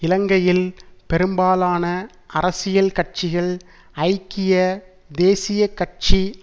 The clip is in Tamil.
இலங்கையில் பெரும்பாலான அரசியல் கட்சிகள் ஐக்கிய தேசிய கட்சி